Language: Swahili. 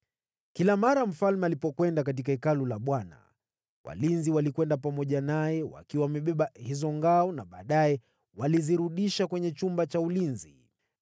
Kila wakati mfalme alipokwenda katika Hekalu la Bwana walinzi walikwenda pamoja naye wakiwa wamebeba hizo ngao na baadaye walizirudisha kwenye chumba cha ulinzi.